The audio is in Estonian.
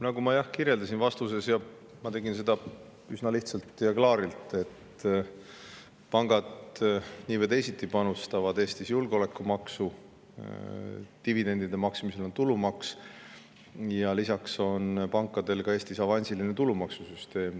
Nagu ma, jah, kirjeldasin vastuses, ja tegin seda üsna lihtsalt ja klaarilt: pangad panustavad nii või teisiti Eestis julgeolekumaksu, dividendide maksmisel on tulumaks ja lisaks on pankadel Eestis ka avansiline tulumaksusüsteem.